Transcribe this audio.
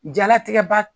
Jalatigɛ ba